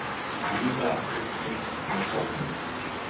Víða rigning með köflum